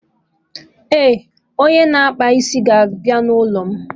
Eh, onye na-akpa isi ga abịa na ụlọ